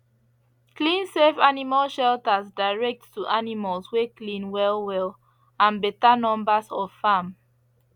clean safe animal shelters direct to animals wey clean wellwell and better numbers of farm